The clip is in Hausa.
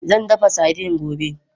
Zan dafa sardine gobe.